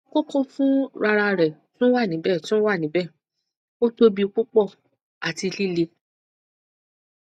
koko fun rararẹ tun wa nibẹ tun wa nibẹ o tobi pupọ ati lile